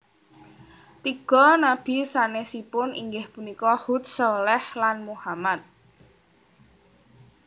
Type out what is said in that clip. Tiga nabi sanesipun inggih punika Hud Shaleh lan Muhammad